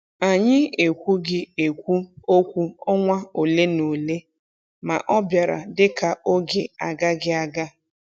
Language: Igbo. Anyị ekwughị ekwu okwu ọnwa ole na ole, ma ọ bịara dị ka oge agaghị aga.